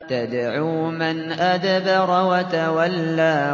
تَدْعُو مَنْ أَدْبَرَ وَتَوَلَّىٰ